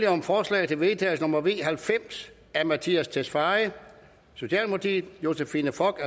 om forslag til vedtagelse nummer v halvfems af mattias tesfaye josephine fock